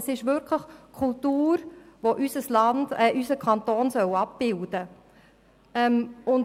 Vielmehr geht es um Kultur, die unseren Kanton abbilden soll.